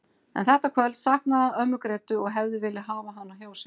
En þetta kvöld saknaði hann ömmu Grétu og hefði viljað hafa hana hjá sér.